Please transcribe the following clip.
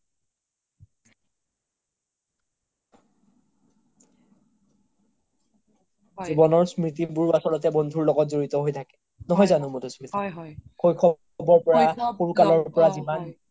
জিৱনৰ স্ম্ৰিতিবোৰ আচলতে বন্ধু লগত জৰিত হয় থাকে নহয় জানো মাধুস্মিতা শৈশৱ ৰ পৰা সৰু কালৰ পৰা